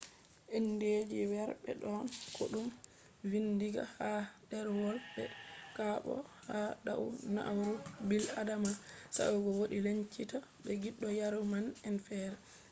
indeji weerbe don ko dum vindinga ha derwol be/kobo ha dau na'ura bil'adama sae'go wodi lencitaaki be giddo yaruuma'en fere